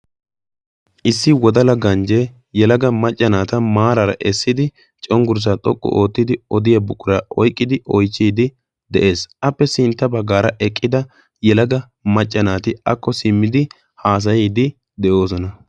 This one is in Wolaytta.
Issi wodala ganjjee yalaga maccanaata maaraara essidi conggurssaa xoqqu oottidi odiya buqura oyqqidi oichchiidi de'ees. appe sintta baggaara eqqida yalaga maccanaati akko simmidi haasayiiddi de'oosona.